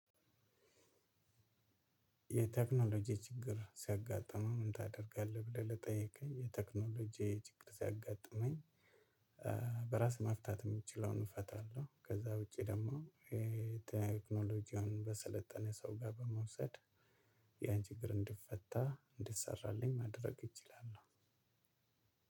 የቴክኖሎጂ ችግር ሲያጋጥምህ ምን ታደርጋለህ ብለህ ለጠየከኝ? የቴክኖሎጂ ችግር ሲያጋጥመኝ በራስ መፍታት የምችለውን እፈታለሁ። ከዛ ውጪ ደግሞ ቴክኖሎጂውን በሰለጠነ ሰው ጋር በመውሰድ ያን ችግር እንዲፈታ እንዲሰራልኝ ማድረግ እችላለሁ።